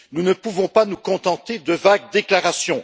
Nous ne pouvons pas nous contenter de vagues déclarations.